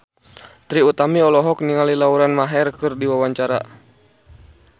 Trie Utami olohok ningali Lauren Maher keur diwawancara